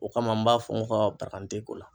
O kama n b'a fɔ n ka ko la.